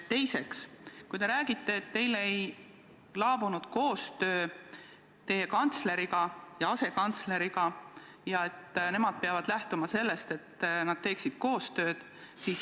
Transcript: Teiseks, te räägite, et teil ei laabunud koostöö teie kantsleri ja asekantsleriga ning et nemad peavad lähtuma sellest, et nad teeksid koostööd.